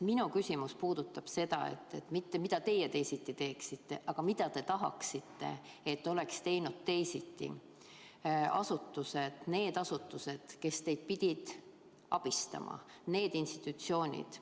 Minu küsimus ei puuduta mitte seda, mida teie teisiti teeksite, vaid seda, mida te tahaksite, et oleks teinud teisiti asutused – need asutused, kes pidid teid abistama, need institutsioonid.